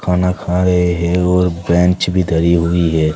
खाना खा रहे हैं और बेंच भी धरी हुई है।